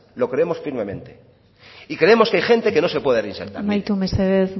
lo queremos firmemente y creemos que hay gente que no se puede reinsertar amaitu mesedez